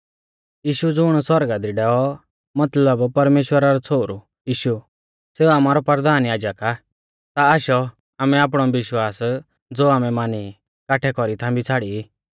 यीशु ज़ुण सौरगा दी डैऔ मतलब परमेश्‍वरा रौ छ़ोहरु यीशु सेऊ आमारौ परधान याजक आ ता आशौ आमै आपणौ विश्वास ज़ो आमै मानी ई काठै कौरी थांबी छ़ाड़ी